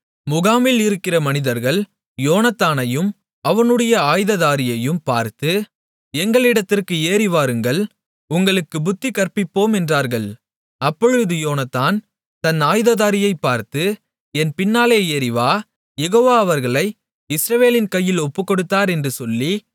முகாமில் இருக்கிற மனிதர்கள் யோனத்தானையும் அவனுடைய ஆயுததாரியையும் பார்த்து எங்களிடத்திற்கு ஏறிவாருங்கள் உங்களுக்குப் புத்தி கற்பிப்போம் என்றார்கள் அப்பொழுது யோனத்தான் தன் ஆயுததாரியைப் பார்த்து என் பின்னாலே ஏறி வா யெகோவா அவர்களை இஸ்ரவேலின் கையில் ஒப்புக்கொடுத்தார் என்று சொல்லி